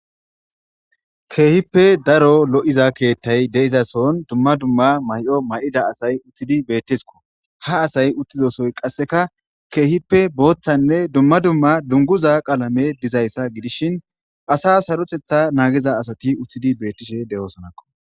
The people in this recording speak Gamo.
keehippe daro lo7iza keettay de7izason dumma dumma may7o may7ida asay uththidi beettesko ha asay uttizosoy qasseka keehippe booththanne dumma dumma dunguza qaalame dizayssa gidishin asa sarotetha naagiza asati uththidi beettishe de7oosonakko